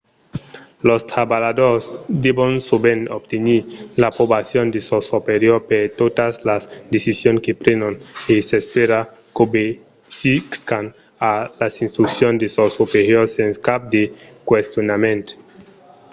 los trabalhadors devon sovent obtenir l’aprobacion de sos superiors per totas las decisions que prenon e s’espèra qu’obesiscan a las instruccions de sos superiors sens cap de questionament